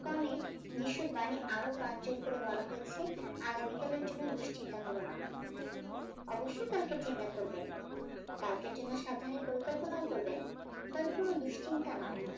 কনে যীশুর বাণী আরো প্রাঞ্চন করে বলা হয়েছে আগামী কাল এর জন্য দুশ্চিন্তা করোনা অবশ্যই কালকের চিন্তা করবেন কালকের জন্য সব ধরণের পরিকল্পনাও করবেন তবে কোনো দুশ্চিন্তা নয়